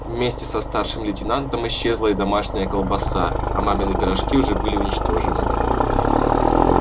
вместе со старшим лейтенантом исчезла и домашняя колбаса а мамины пирожки уже были уничтожены